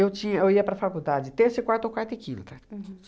Eu tinha eu ia para a faculdade de terça e quarta ou quarta e quinta. Uhum.